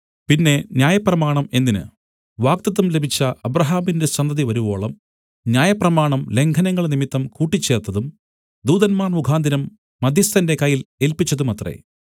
പിന്നെ ന്യായപ്രമാണം എന്തിന് വാഗ്ദത്തം ലഭിച്ച അബ്രാഹാമിന്റെ സന്തതിവരുവോളം ന്യായപ്രമാണം ലംഘനങ്ങൾ നിമിത്തം കൂട്ടിച്ചേർത്തതും ദൂതന്മാർ മുഖാന്തരം മദ്ധ്യസ്ഥന്റെ കയ്യിൽ ഏല്പിച്ചതുമത്രേ